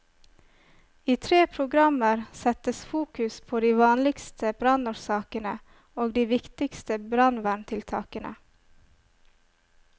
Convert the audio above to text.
I tre programmer settes fokus på de vanligste brannårsakene og de viktigste brannverntiltakene.